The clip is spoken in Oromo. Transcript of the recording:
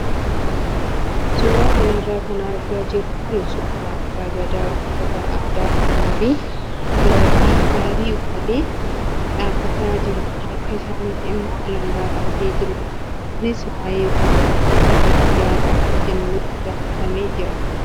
Suuraa kanarra kan argaa jirru kun suuraa abbaa gadaa uffata aadaa oromoo fi gaabii uffatee dhaabbataa jiru harka isaatti immoo alangaa qabatee jirudha. Kunis waayee wanta tokkoo irratti yaada akka kennuuf gaafatamee jira.